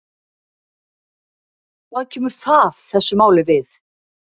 Hvað kemur það þessu máli við?